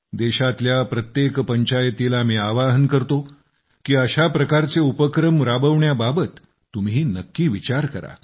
देशातल्या प्रत्येक पंचायतीला मी आवाहन करतो की अशा प्रकारचे उपक्रम राबविण्याबाबत तुम्ही नक्की विचार करा